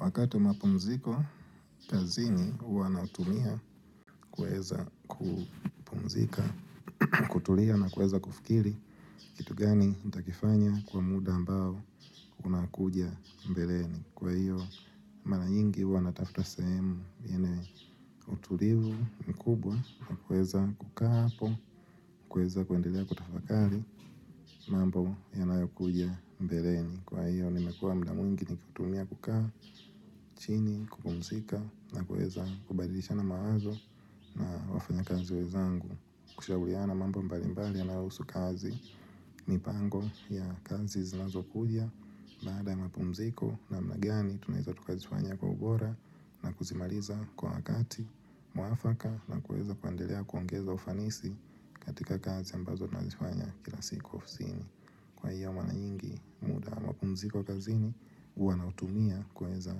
Wakati mapumziko, kazini wana utumia kueza kupumzika, kutulia na kueza kufikiri, kitu gani takifanya kwa muda ambao kuna kuja mbeleni. Kwa hiyo, mara nyingi wana tafta semu, yenye utuliu mkubwa na kueza kukaa hapo, kueza kuendelea kutafakari, mambo yanayo kuja mbeleni. Kwa hiyo ni mekua mda mwingi ni kutumia kukaa, chini, kupumzika na kueza kubadilisha na mawazo wafanya kazi wezangu Kushauliana mambo mbalimbali ya na usu kazi mi pango ya kazi zinazo kuja Baada ya mapumziko na mnagani tuneza tukazifanya kwa ubora na kuzimaliza kwa wakati mwafaka na kueza kuandelea kuongeza ufanisi katika kazi ambazo na zifanya kila siku ufosini kwaiyo maranyingi mapumziko kazini uwa na utumia kwa weza